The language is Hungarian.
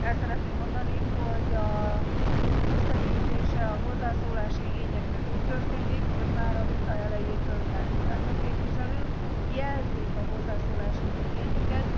El szeretném mondani, hogy az összegyűjtése a hozzászólási igényeknek úgy történik, hogy már a vita elejétől benn ülnek a képviselők, jelzik a hozzászólásuk igényüket.